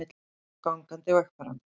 Ekið á gangandi vegfaranda